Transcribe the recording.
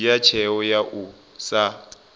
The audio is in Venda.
dzhia tsheo ya u sa